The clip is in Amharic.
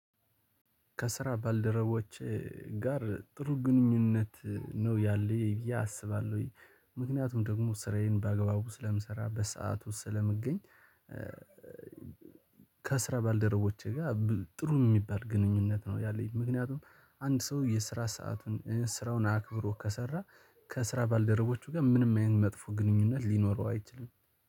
ከስራ ባልደረቦች ጋር ጥሩ ግንኙነት ነው ያለኝ ብዬ አስባለሁኝ ምክንያቱም ደግሞ ስራዬን በአግባቡ ስለምሰራ፤ በሰአቱ ስለምገኝ፤ ከስራ ባልደረቦቼ ጋር ጥሩ የሚባል ግንኙነት ነው ያለኝ። ምክንያቱም አንድ ሰው የስራ ሰአቱን ስራውን አክብሮ ከሰራ ከስራ ባልደረቦቹ ጋር ምንም ያህል መጥፎ ግንኙነት ሊኖረው አይችልም።